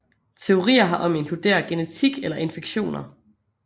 Teorier herom inkluderer genetik eller infektioner